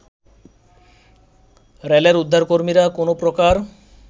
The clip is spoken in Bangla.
রেলের উদ্ধারকর্মীরা কোনো প্রকার